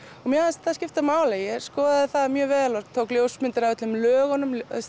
mér fannst það skipta máli ég skoðaði það mjög vel tók ljósmyndir af öllum lögunum